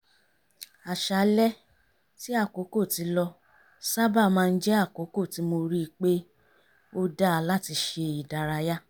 àṣálẹ́ tí àkókò ti lọ sábà má ń jẹ́ àkókò tí mo rí pe ó dá láti ṣe ìdárayá